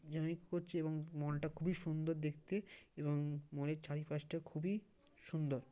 করছি এবং মলটা খুবই সুন্দর দেখতে এবং মলের চারিপাশটা খুবই সুন্দর।